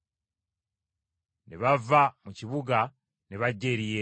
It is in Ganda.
Ne bava mu kibuga ne bajja eri Yesu.